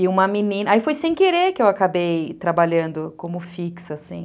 E uma menina... Aí foi sem querer que eu acabei trabalhando como fixa, assim.